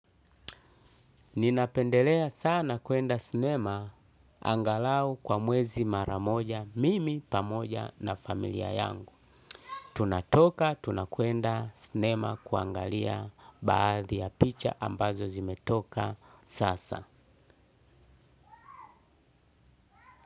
Ninapendelea sana kuenda sinema angalau kwa muwezi maramoja mimi pamoja na familia yangu. Tunatoka tunakuenda sinema kuangalia baadhi ya picha ambazo zimetoka sasa.